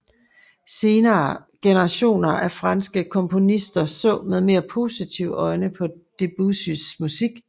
Senere generationer af franske komponister så med mere positive øjne på Debussys musik